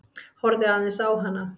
Horfði aðeins á hana.